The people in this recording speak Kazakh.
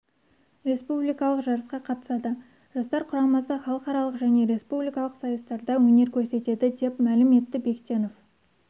республикалық жарысқа қатысады жастар құрамасы халықаралық және республикалық сайыстарда өнер көрсетеді деп мәлім етті бектенов